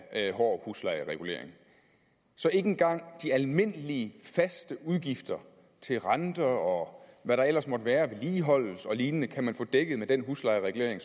af hård huslejeregulering så ikke engang de almindelige faste udgifter til renter og hvad der ellers måtte være af vedligeholdelse og lignende kan man få dækket med den huslejeregulering